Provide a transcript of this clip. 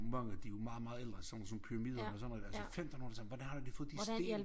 Mange de jo meget meget ældre sådan nogen sådan pyramider men sådan noget altså femtenhundredetallet hvordan har de fået de sten